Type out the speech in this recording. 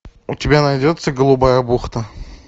у тебя найдется голубая бухта